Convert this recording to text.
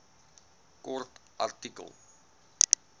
kort artikel